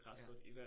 Ja